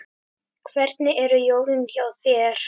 Hvernig eru jólin hjá þér?